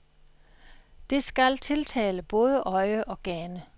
Det skal tiltale både øje og gane.